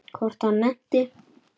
Hvort hann nennti.